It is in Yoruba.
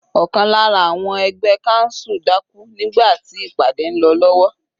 Ọ̀kan lára àwọn ẹgbẹ́ council dákú nígbà tí ìpàdé ń lọ lọ́wọ́.